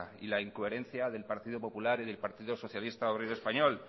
y la incoherencia del partido popular y del partido socialista obrero español